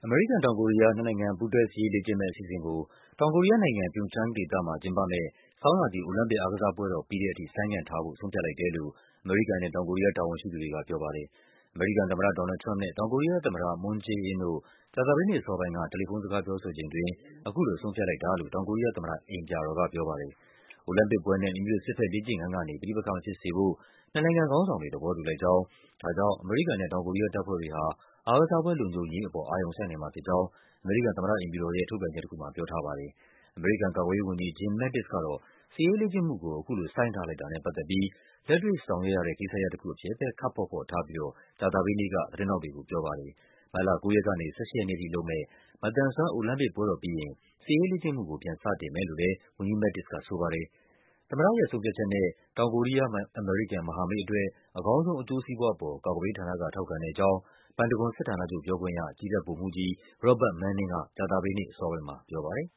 မေရိကန်-တောင်ကိုရီးယား နှစ်နိုင်ငံ ပူးတွဲ စစ်ရေးလေ့ကျင့်မယ့်အစီအစဉ်ကို တောင်ကိုရီးယားနိုင်ငံ၊ Pyeongchang ဒေသမှာ ကျင်းပမယ့် ဆောင်းရာသီ အိုလံပစ်အားကစားပွဲတော် ပြီးတဲ့အထိ ဆိုင်းငံ့ထားဖို့ ဆုံးဖြတ်လိုက်တယ်လို့ အမေရိကန်နဲ့ တောင်ကိုရီးယား တာဝန်ရှိသူတွေက ပြောပါတယ်။ အမေရိကန်သမ္မတ ဒေါ်နယ်လ်ဒ် ထရမ့်ပ်နဲ့ တောင်ကိုရီးယားသမ္မတ Moon Jae-in တို့ ကြာသပတေးနေ့အစောပိုင်းက တယ်လီဖုန်းစကား ပြောဆိုချိန်အတွင်း အခုလို ဆုံးဖြတ်လိုက်တာလို့ တောင်ကိုရီးယားသမ္မတအိမ်ပြာတော်က ပြောပါတယ်။ အိုလံပစ်ပွဲနဲ့ မိမိတို့စစ်ဘက်လေ့ကျင့်ခန်းကနေ ပဋိပက္ခမဖြစ်စေဖို့ နှစ်နိုင်ငံခေါင်းဆောင်တွေ သဘောတူလိုက်ကြောင်း၊ ဒါကြောင့် အမေရိကန်နဲ့ တောင်ကိုရီးယား တပ်ဖွဲ့တွေဟာ အားကစားပွဲလုံခြုံရေးအပေါ် အာရုံစိုက်နိုင်မှာဖြစ်ကြောင်း အမေရိကန် သမ္မတ အိမ်ဖြူတော်ရဲ့ ထုတ်ပြန်ချက်တခုမှာ ပြောထားပါတယ်။ အမေရိကန်ကာကွယ်ရေးဝန်ကြီး Jim Mattis ကတော့ စစ်ရေးလေ့ကျင့်မှုကို အခုလို ဆိုင်းထားလိုက်တာနဲ့ပတ်သက်ပြီး လက်တွေ့ဆောင်ရွက်ရတဲ့ ကိစ္စရပ်တခုအဖြစ်ပဲ ခပ်ဖော့ဖော့ထားပြီး ကြာသပတေးနေ့က သတင်းထောက်တွေကိုပြောပါတယ်။ မတ်လ ၉ ရက်ကနေ ၁၈ ရက်နေ့အထိလုပ်မယ့် မသန်စွမ်း အိုလံပစ်ပွဲတော်ပြီးရင် စစ်ရေးလေ့ကျင့်မှုကို ပြန်လုပ်မယ်လို့လဲ ဝန်ကြီး Mattis ကဆိုပါတယ်။ သမ္မတရဲ့ဆုံးဖြတ်ချက်နဲ့ တောင်ကိုရီးယား-အမေရိကန် မဟာမိတ်အတွက် အကောင်းဆုံး အကျိုးစီးပွားအပေါ် ကာကွယ်ရေးဌာန က ထောက်ခံတဲ့အကြောင်း ပန်တဂွန်စစ်ဌာနချုပ်ပြောခွင့်ရ ကြည်းတပ်ဗိုလ်မှူးကြီး Robert Manning က ကြာသပတေးနေ့ အစောပိုင်းမှာပြောပါတယ်